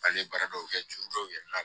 A ye baara dɔw kɛ juru dɔw yɛlɛ la